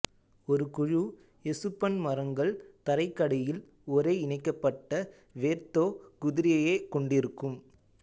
ஒருகுழு எசுப்பன் மரங்கள் தரைக்கடியில் ஒரே இணைக்கப்பட்ட வேர்த்தொகுதியையே கொண்டிருக்கும்